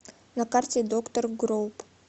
на карте доктор гроуп